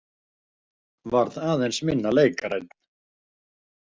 Varð aðeins minna leikrænn.